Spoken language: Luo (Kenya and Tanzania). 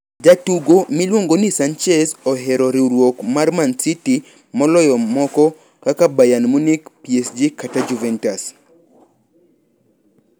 Jatugo miluongo ni Sanchez ohero riwruok mar City moloyo moko kaka Bayern Munich, PSG kata Juventus.